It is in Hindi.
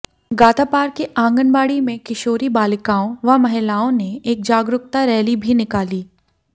गातापार के आंगनबाड़ी में किशोरी बालिकाओं व महिलाओं ने एक जागरुकता रैली भी निकाली